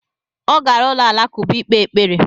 Ọ gara ụlọ alakụba ikpe ekpere